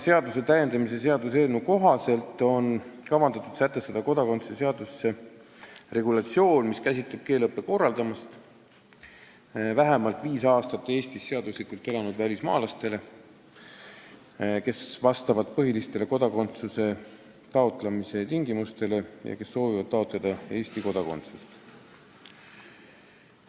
Seaduseelnõu kohaselt on kavandatud kodakondsuse seaduses sätestada regulatsioon, mis käsitleb keeleõppe korraldamist vähemalt viis aastat Eestis seaduslikult elanud välismaalastele, kes vastavad põhilistele kodakonduse taotlemise tingimustele ja kes soovivad taotleda Eesti kodakondsust.